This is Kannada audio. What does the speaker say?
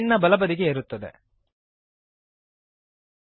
ಈ ಪ್ರಾಪರ್ಟೀಸ್ ವಿಂಡೋ ಎನ್ನುವುದು ನಮ್ಮ ಸ್ಕ್ರೀನ್ ನ ಬಲಬದಿಗೆ ಇರುತ್ತದೆ